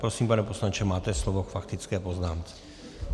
Prosím, pane poslanče, máte slovo k faktické poznámce.